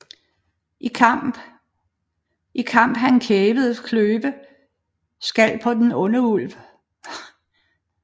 I Kamp han Kæverne kløve skal på den onde Ulv